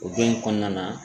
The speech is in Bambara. O don in kɔnɔna na